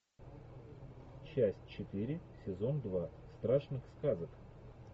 часть четыре сезон два страшных сказок